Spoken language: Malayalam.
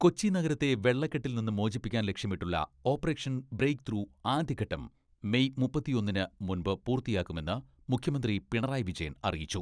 കൊച്ചി നഗരത്തെ വെള്ളക്കെട്ടിൽനിന്ന് മോചിപ്പിക്കാൻ ലക്ഷ്യമിട്ടുള്ള ഓപ്പറേഷൻ ബ്രേക്ക് ത്രൂ ആദ്യഘട്ടം മേയ് മുപ്പത്തിയൊന്നിന് മുൻപ് പൂർത്തിയാക്കുമെന്ന് മുഖ്യമന്ത്രി പിണറായി വിജയൻ അറിയിച്ചു.